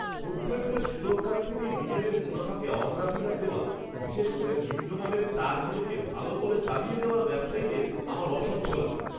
খদ্দেরদের সুরক্ষার থেকে নিজেদের মুনাফাকে অগ্রাধিকার দেওয়া, বিশেষ করে নিম্ন মানের তারগুলোকে ভালো বলে চালিয়ে দেওয়া ব্যবসায়ীদের আমার অসহ্য লাগে।